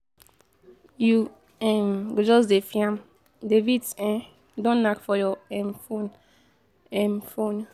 You um go just dey fiam, debit um don nack for your um fon. um fon.